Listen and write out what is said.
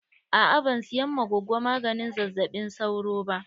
Aa ban siyan ma gogo maganin zazzaɓin sauro ba.